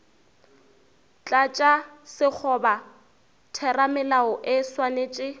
tlatša sekgoba theramelao e swanetše